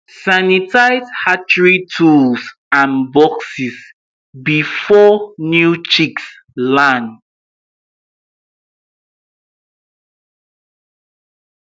na trained vet we dey carry join body anytime for vaccination or serious health matter.